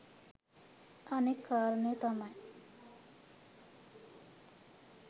අනෙත් කාරණය තමයි